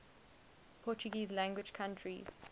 portuguese language countries